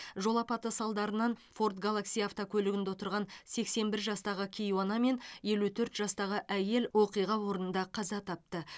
жол апаты салдарынан форд галакси автокөлігінде отырған сексен бір жастағы кейуана мен елу төрт жастағы әйел оқиға орнында қаза тапты